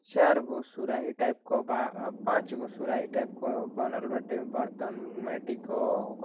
चारगो सुराही टाइप क बा। पांचगो सुराही टाइप क बनल बाटे बर्तन माटी क।